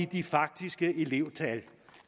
de faktiske elevtal